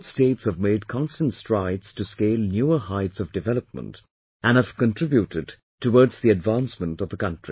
Both states have made constant strides to scale newer heights of development and have contributed toward the advancement of the country